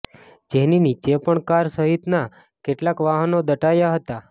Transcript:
જેની નીચે પણ કાર સહિતના કેટલાક વાહનો દટાયા હતા